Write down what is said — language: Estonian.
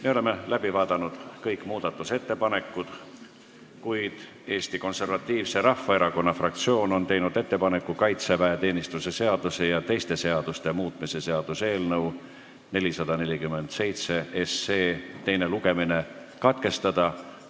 Me oleme kõik muudatusettepanekud läbi vaadanud, kuid Eesti Konservatiivse Rahvaerakonna fraktsioon on teinud ettepaneku kaitseväeteenistuse seaduse ja teiste seaduste muutmise seaduse eelnõu 447 teine lugemine katkestada.